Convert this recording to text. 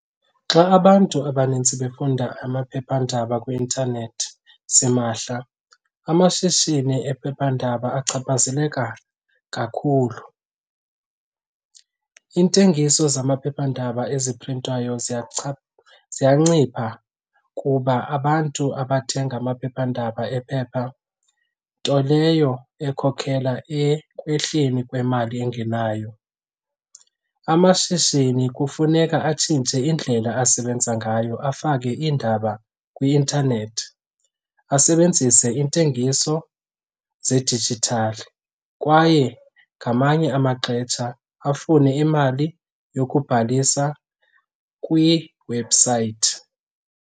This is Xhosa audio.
Xa abantu abanintsi befunda amaphephandaba kwi-intanethi simahla, amashishini ephephandaba achaphazeleka kakhulu. Iintengiso zamaphephandaba eziprintwayo ziyancipha kuba abantu abathenga amaphephandaba ephepha, nto leyo ekhokhela ekwehleni kwemali engenayo. Amashishini kufuneka atshintshe indlela asebenza ngayo afake iindaba kwi-intanethi, asebenzise iintengiso zedijithali kwaye ngamanye amaxetsha afune imali yokubhalisa kwiwebhusayithi.